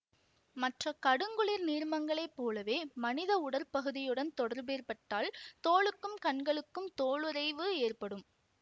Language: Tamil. மற்ற கடுங்குளிர் நீர்மங்களைப் போலவே மனித உடற் பகுதியுடன் தொடர்பேற்பட்டால் தோலுக்கும் கண்களுக்கும் தோலுறைவு ஏற்படும்